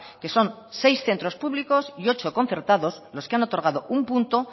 que son seis centro públicos y ocho concertados los que han otorgado un punto